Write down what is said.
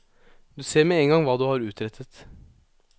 Du ser med en gang hva du har utrettet.